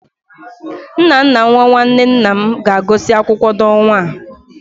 Nnanna nwa nwanne nna m ga-agụsị akwụkwọ n'ọnwa a.